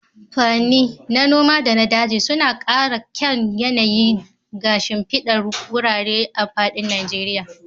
Furenni, na noma da na daji, suna ƙara kyan yanayi ga shimfidar wurare a faɗin Najeriya